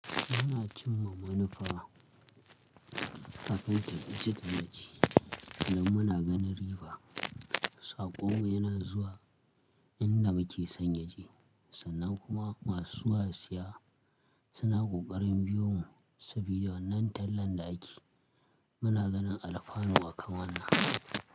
Muna cin mamanu fara a kan talatin da hudu da hudu, idan muna ganin riba. Saƙonmu yana zuwa inda muke sanya je, sannan kuma masu wasiya suna ƙoƙarin biyo mu sabida wannan tallan da ake. Muna ganin alfanu a kan wannan.